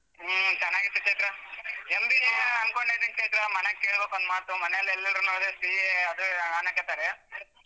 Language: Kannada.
ಹ್ಮ್‌ ಚನ್ನಾಗಿತ್ತು ಚೈತ್ರ MBA ಅನ್ಕೊಂಡಿದ್ದೀನಿ ಚೈತ್ರ ಮನೆಗ್ ಕೇಳ್ಬೇಕು ಒಂದ್ ಮಾತು ಮನೆಯಾಗ್ ಎಲ್ರುನು CA ಅದು ಅನ್ನಕತ್ತಾರೆ.